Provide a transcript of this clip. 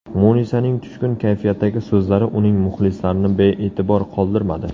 Munisaning tushkun kayfiyatdagi so‘zlari uning muxlislarini bee’tibor qoldirmadi.